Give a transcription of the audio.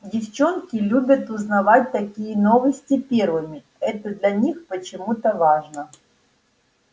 девчонки любят узнавать такие новости первыми это для них почему-то важно